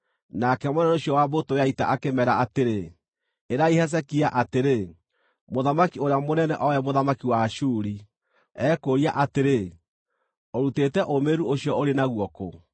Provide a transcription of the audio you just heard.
Nake mũnene ũcio wa mbũtũ ya ita akĩmeera atĩrĩ, “Ĩrai Hezekia atĩrĩ, “ ‘Mũthamaki ũrĩa mũnene o we mũthamaki wa Ashuri, ekũũria atĩrĩ: Ũrutĩte ũũmĩrĩru ũcio ũrĩ naguo kũ?